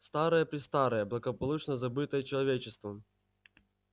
старое-престарое благополучно забытое человечеством